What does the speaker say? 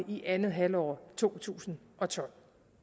i andet halvår af to tusind og tolv